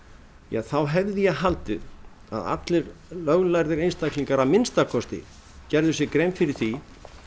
þá hefði ég haldið að allir löglærðir einstaklingar að minnsta kosti gerðu sér grein fyrir því